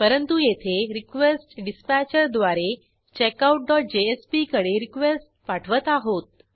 परंतु येथे रिक्वेस्टडिस्पॅचर द्वारे checkoutजेएसपी कडे रिक्वेस्ट पाठवत आहोत